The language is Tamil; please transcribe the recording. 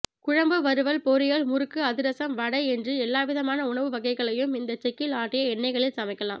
குழம்பு வறுவல் பொரியல் முறுக்கு அதிரசம் வடை என்று எல்லாவிதமான உணவு வகைகளையும் இந்த செக்கில் ஆட்டிய எண்ணெய்களில் சமைக்கலாம்